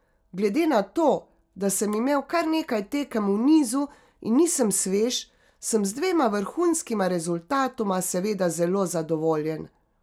Glede na to, da sem imel kar nekaj tekem v nizu in nisem svež, sem z dvema vrhunskima rezultatoma seveda zelo zadovoljen.